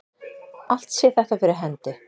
Allt sé þetta fyrir hendi